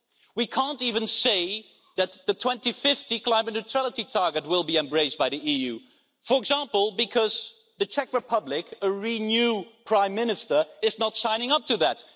We can't even say that the 2050 climate neutrality target will be embraced by the EU, for example, because in the Czech Republic, a Renew Prime Minister is not signing up to that.